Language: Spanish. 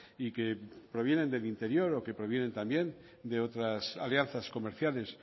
y que provienen del interior o que provienen también de otras alianzas comerciales